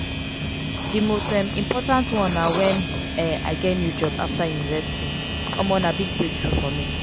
di most um important one na when um i get a new job after university um na big breakthrough for me.